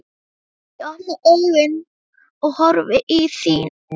Ég opna augun og horfi í þín.